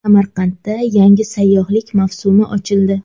Samarqandda yangi sayyohlik mavsumi ochildi.